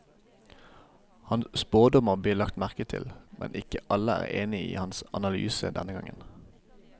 Hans spådommer blir lagt merke til, men ikke alle er enige i hans analyse denne gangen.